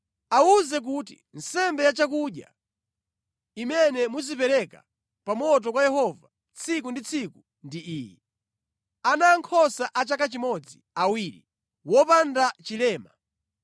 Awuze kuti, ‘Nsembe ya chakudya imene muzipereka pa moto kwa Yehova tsiku ndi tsiku ndi iyi: Ana ankhosa a chaka chimodzi awiri, wopanda chilema.